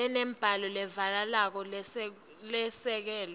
lenembako levakalako lesekelwe